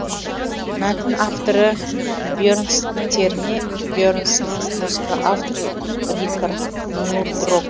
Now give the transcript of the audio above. мәтін авторы бьернстьерне бьернсон музыка авторы рикард нурдрок